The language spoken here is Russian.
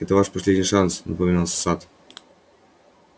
это ваш последний шанс напоминал сатт